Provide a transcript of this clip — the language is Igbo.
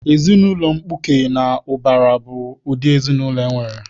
Ezinaụlọ mkpuke na ụbara bụ ụdị ezinaụlọ enwere.